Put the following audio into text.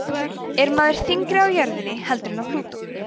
er maður þyngri á jörðinni heldur en á plútó